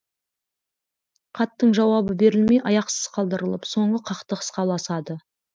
хаттың жауабы берілмей аяқсыз қалдырылып соңы қақтығысқа ұласады